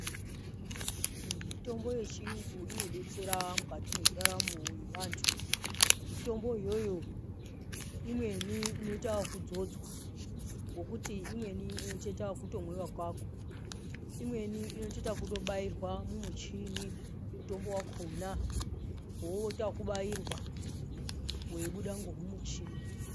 Mitombo yechiyungu inodetsera mukati mwendaramo yevandu, mitombo iyoyo imweni inoita wokudzodzwaa, ngokuti imweni inotoita wokutomwiwa wokako, imweni inotoita wokutobairwaa mumuchini mutombo wakonaa, woita wokubairwaa weibuda ngomumuchini.